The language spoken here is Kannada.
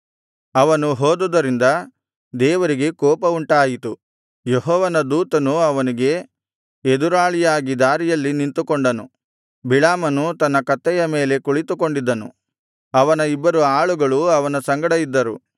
ಅವನು ಹೋದುದರಿಂದ ದೇವರಿಗೆ ಕೋಪವುಂಟಾಯಿತು ಯೆಹೋವನ ದೂತನು ಅವನಿಗೆ ಎದುರಾಳಿಯಾಗಿ ದಾರಿಯಲ್ಲಿ ನಿಂತುಕೊಂಡನು ಬಿಳಾಮನು ತನ್ನ ಕತ್ತೆಯ ಮೇಲೆ ಕುಳಿತುಕೊಂಡಿದ್ದನು ಅವನ ಇಬ್ಬರು ಆಳುಗಳು ಅವನ ಸಂಗಡ ಇದ್ದರು